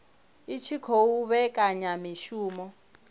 i tshi khou vhekanya mishumo